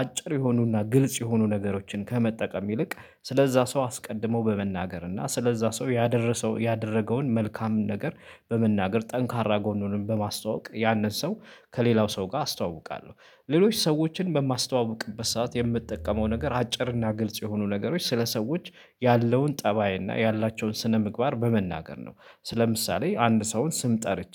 አጭር የሆኑና ግልጽ የሆኑ ነገሮችን ከመጠቀም ይልቅ ስለዛ ሰው አስቀድሞው በመናገር እና ስለዛ ሰው ያደረሰው ያደረገውን መልካም ነገር በመናገር ጠንካራ ጎኑንም በማስተዋወቅ ያንን ሰው ከሌላው ሰው ጋር አስተዋውቃለሁ። ሌሎች ሰዎችን በማስተዋውቅበት ሰዓት የምትጠቀመው ነገር አጭርና ግልጽ የሆኑ ነገሮች ስለ ሰዎች ያለውን ጠባይ እና ያላቸውን ስነ ምግባር በመናገር ነው። ለምሳሌ አንድ ሰውን ስም ጠርቼ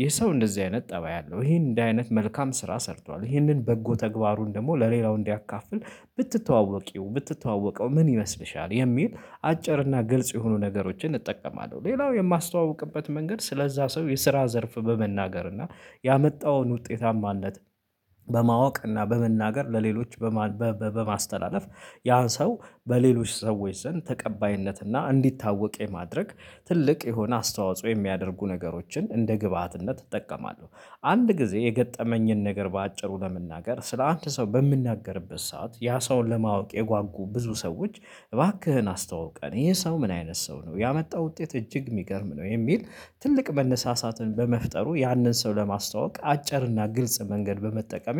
ይህ ሰው እንደዚህ አይነት ጠባይ አለው ይሄ እንደ አይነት መልካም ስራ ሰርቷል ይሄንን በጎ ተግባሩን ደግሞ ለሌላው እንዲያካፍል ብትተዋወቂው ብትተዋወቀው ምን ይመስልሻል የሚል አጭርና እና ግልጽ የሆኑ ነገሮችን እጠቀማለሁ። ሌላው የማስተዋውቅበት መንገድ ስለዛ ሰው የስራ ዘርፍ በመናገር እና ያመጣውን ውጤታማነት በማወቅና በመናገር ለሌሎች በማስተላለፍ ያን ሰው በሌሎች ሰዎች ዘንድ ተቀባይነት እና እንዲታወቅ የማድረግ ትልቅ የሆነ አስተዋጽኦ የሚያደርጉ ነገሮችን እንደ ግብአትነት እጠቀማለሁ። አንድ ጊዜ የገጠመኝን ነገር በአጭሩ ለመናገር ስለ አንድ ሰው በምንናገርበት ሰዓት ያን ሰውን ለማወቅ የጓጉ ብዙ ሰዎች እባክህን አስተውቀን ይሄ ሰው ምን አይነት ሰው ነው ያመጣው ውጤት እጅግ የሚገርም ነው የሚል ትልቅ መነሳሳትን በመፍጠሩ ያንን ሰው ለማስተዋወቅ አጭር እና ግልጽ መንገድ በመጠቀሜ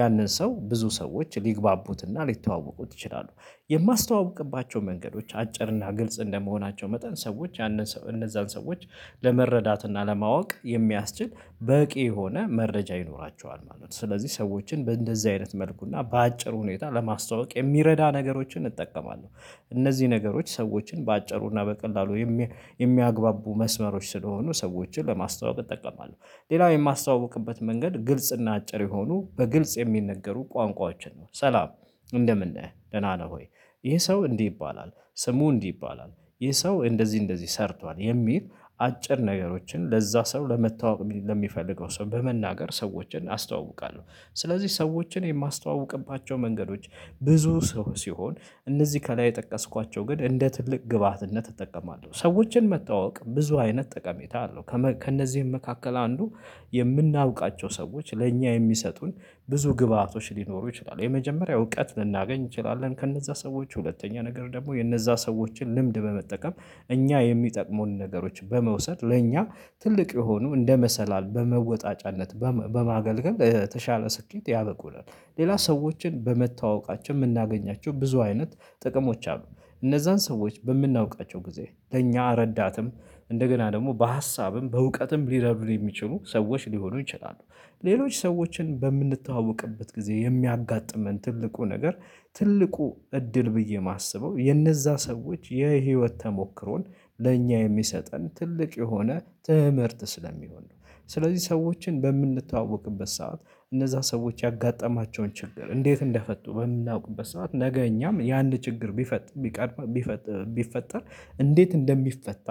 ያንን ሰው ብዙ ሰዎች ሊግባቡትና ሊተዋወቁት ይችላሉ። የማስተዋውቅባቸው መንገዶች አጭር እና ግልጽ እንደመሆናቸው መጠን ሰዎች ያንን ሰው እነዛን ሰዎች ለመረዳት እና ለማወቅ የሚያስችል በቂ የሆነ መረጃ ይኖራቸዋል ማለት ነው። ስለዚህ ሰዎችን በእንደዚህ አይነት መልኩና በአጭር ሁኔታ ለማስተዋወቅ የሚረዳ ነገሮችን እጠቀማለሁ። እነዚህ ነገሮች ሰዎችን በአጭሩና በቀላሉ የሚያግባቡ መስመሮች ስለሆኑ ሰዎችን ለማስተዋወቅ እጠቀማለሁ ሌላው የማስተዋውቅበት መንገድ ግልጽ እና አጭር የሆኑ በግልጽ የሚነገሩ ቋንቋዎችን ነው። ሰላም እንደምን ነህ ደህና ነህ ወይ ይሄ ሰው እንዲህ ይባላል ስሙ እንዲህ ይባላል ይሄ ሰው እንደዚህ እንደዚህ ሰርቷል የሚል አጭር ነገሮችን ለዛ ሰው ለመተዋወቅ ለሚፈልገው ሰው በመናገር ሰዎችን አስተዋውቃለሁ። ስለዚህ ሰዎችን የማስተዋውቅባቸው መንገዶች ብዙ ሰው ሲሆን እነዚህ ከላይ የጠቀስኳቸው ግን እንደ ትልቅ ግብአትነት እጠቀማለሁ ሰዎችን መተዋወቅ ብዙ አይነት ጠቀሜታ አለው ከእነዚህም መካከል አንዱ የምናውቃቸው ሰዎች ለእኛ የሚሰጡን ብዙ ግብአቶች ሊኖሩ ይችላሉ። የመጀመሪያው እውቀት ልናገኝ እንችላለን። ከነዛ ሰዎች ሁለተኛ ነገር ደግሞ የነዛ ሰዎችን ልምድ በመጠቀም እኛ የሚጠቅሙን ነገሮች በመውሰድ ለእኛ ትልቅ የሆኑ እንደ መሰላል በመወጣጫነት በማገልገል ተሻለ ስኬት ያበቁናል። ሌላ ሰዎችን በመተዋወቃችን የምናገኛቸው ብዙ አይነት ጥቅሞች አሉ። እነዛን ሰዎች በምናውቃቸው ጊዜ ለእኛ ረዳትም እንደገና ደግሞ በሀሳብም በእውቀትም ሊረዱን የሚችሉ ሰዎች ሊሆኑ ይችላሉ። ሌሎች ሰዎችን በምንተዋወቅበት ጊዜ የሚያጋጥመን ትልቁ ነገር ትልቁ እድል ብዬ የማስበው የእነዛ ሰዎች የህይወት ተሞክሮን ለእኛ የሚሰጠን ትልቅ የሆነ ትምህርት ስለሚሆን ነው። ስለዚህ ሰዎችን በምንተዋወቅበት ሰዓት እነዛ ሰዎች ያጋጠማቸውን ችግር እንዴት እንደፈቱ በምናውቅበት ሰዓት ነገ እኛም የአንድ ችግር ቢፈጥር ቢቀርብ ቢፈጥር ቢፈጠር እንዴት እንደሚፈታ?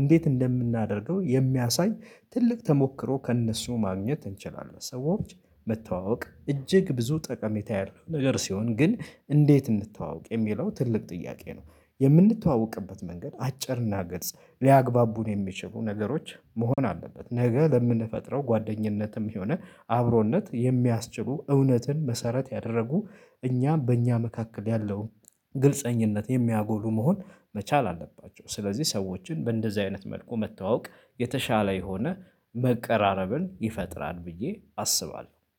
እንዴት እንደምናደርገው የሚያሳይ ትልቅ ተሞክሮ ከእነሱ ማግኘት እንችላለን። ሰዎች መተዋወቅ እጅግ ብዙ ጠቀሜታ ያለው ነገር ሲሆን ግን እንዴት እንድተዋወቅ የሚለው ትልቅ ጥያቄ ነው? የምንተዋወቅበት መንገድ አጭርና ገልጽ ሊያግባቡን የሚችሉ ነገሮች መሆን አለበት። ነገ ለምንፈጥረው ጓደኝነትም የሆነ አብሮነት የሚያስችሉ እውነትን መሰረት ያደረጉ እኛም በእኛ መካከል ያለው ግልፀኝነት የሚያጎሉ መሆን መቻል አለባቸው። ስለዚህ ሰዎችን በእንደዚህ አይነት መልኩ መተዋወቅ የተሻለ የሆነ መቀራረብን ይፈጥራል ብዬ አስባለሁ